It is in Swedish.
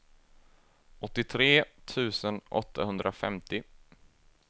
åttiotre tusen åttahundrafemtio